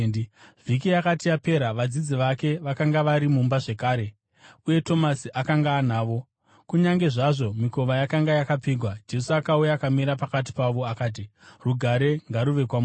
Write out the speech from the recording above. Vhiki yakati yapera, vadzidzi vake vakanga vari mumba zvakare, uye Tomasi akanga anavo. Kunyange zvazvo mikova yakanga yakapfigwa, Jesu akauya akamira pakati pavo akati, “Rugare ngaruve kwamuri!”